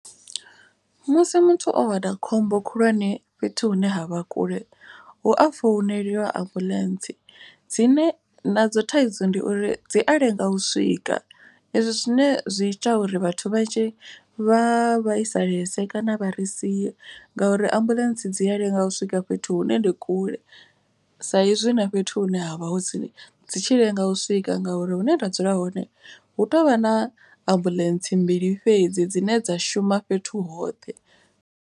Musi muthu o wana khombo khulwane fhethu hune ha vha kule. Hu a founeliwa ambuḽentse dzine nadzo thaidzo ndi uri dzi a lenga u swika. Ezwi zwine zwi ita uri vhathu vha tshi vha vhaisalese kana vha ri sia ngauri ambuḽentse dzi a lenga u swika fhethu hune ndi kule. Sa izwi na fhethu hune ha vha hu tsini dzi tshi lenga u swika. Ngauri hune nda dzula hone hu tovha na ambuḽentse mbili fhedzi dzine dza shuma fhethu hoṱhe.